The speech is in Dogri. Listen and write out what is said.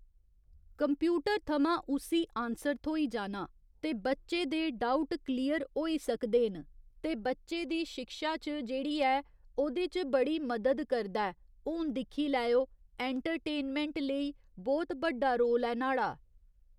कम्प्यूटर थमां उस्सी आन्सर थ्होई जाना ते बच्चे दे डाउट क्लियर होई सकदे न ते बच्चे दी शिक्षा च जेह्ड़ी ऐ ओह्दे च बड़ी मदद करदा ऐ हून दिक्खी लैओ ऐंटरटेनमैंट लेई बहुत बड्डा रोल ऐ न्हाड़ा।